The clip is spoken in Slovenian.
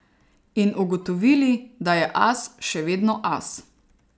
In ugotovili, da je As še vedno as.